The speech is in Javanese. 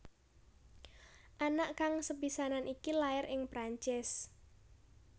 Anak kang sepisanan iki lair ing Perancis